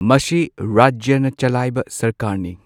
ꯃꯁꯤ ꯔꯥꯖ꯭ꯌꯅ ꯆꯂꯥꯏꯕꯁꯔꯀꯥꯔꯅꯤ ꯫